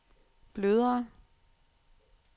blødere